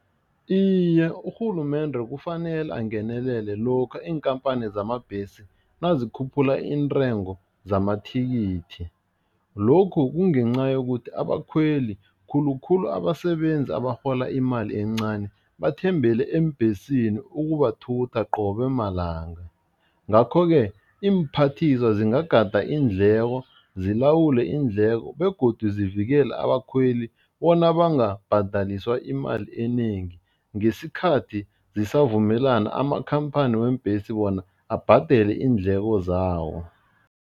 Iye, urhulumende kufanele angenelele lokha iinkhamphani zamabhesi nazikhuphula iintengo zamathikithi, lokhu kungenca yokuthi abakhweli khulukhulu abasebenzi abarhola imali encani, bathembele eembhesini ukubathutha qobe malanga. Ngakho-ke iimphathiswa zingagada iindleko, zilawule iindleko begodu zivikela abakhweli bona bangabhadaliswa imali enengi ngesikhathi zisavumelana amakhamphani weembhesi wona abhadele iindleko zawo.